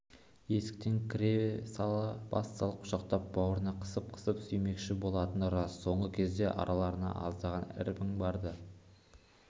есіктен кіре бас салып құшақтап бауырына қысып-қысып сүймекші болатын рас соңғы кезде араларында аздаған кірбің бар-ды